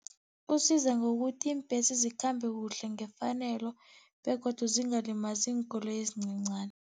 Kusiza ngokuthi iimbhesi zikhambe kuhle ngefanelo begodu zingalimazi iinkoloyi ezincancani.